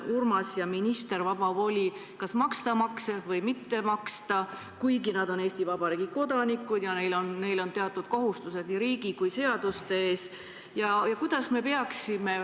Urmas ja minister on ju võtnud vaba voli otsustada, kas maksta makse või mitte maksta, kuigi nad on Eesti Vabariigi kodanikud ja neil on teatud kohustused nii riigi kui ka seaduste ees?